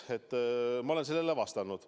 Ma olen sellele vastanud.